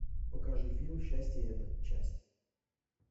покажи фильм счастье это часть